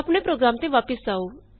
ਆਪਣੇ ਪ੍ਰੋਗਰਾਮ ਤੇ ਵਾਪਸ ਆਉ